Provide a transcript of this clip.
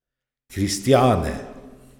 Kristjane.